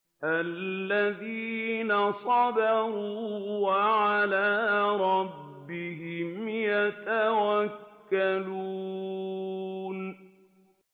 الَّذِينَ صَبَرُوا وَعَلَىٰ رَبِّهِمْ يَتَوَكَّلُونَ